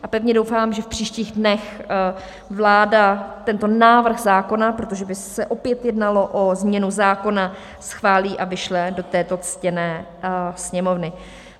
A pevně doufám, že v příštích dnech vláda tento návrh zákona, protože by se opět jednalo o změnu zákona, schválí a vyšle do této ctěné Sněmovny.